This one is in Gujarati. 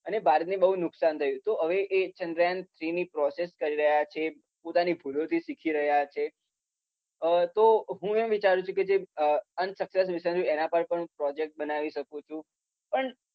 અને ભારતને બઉ જ નુકસાન થયુ. તો હવે એ ચંદ્રયાન ટુની પ્રોસેસ કહેવાય કે પોતાની ભુલોથી શીખી રહ્યા છે. તો હું એ વિચારુ છુ કે જે અનસક્સેસ મિશન જે છે એના પર પણ પ્રોજેક્ટ બનાવી શકુ છુ. પણ